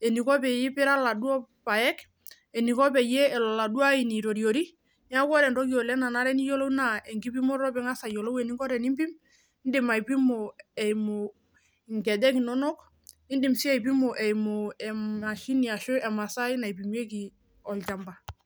eniko peipira iladuo paek eniko peyie elo oladuo aini aitoriori niaku ore entoki oleng nanare peiyiolou naa enkipimoto piing'as ayiolou eninko tenimpim indim aipimo eimu inkejek inonok indim sii aipimo eimu ehm emashini ashu emasai naipimieki olchamba.